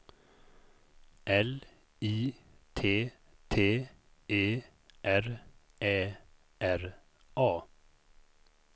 L I T T E R Ä R A